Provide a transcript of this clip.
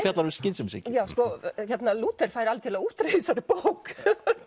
fjallar um skynsemishyggju Lúther fær algjöra útreið í þessari bók